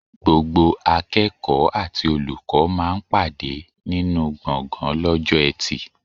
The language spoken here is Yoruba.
Gbogbo akẹ́kọ̀ọ́ àti olùkọ́ máa ń pàdé nínú gbọ̀ngan lọ́jọ́ eti.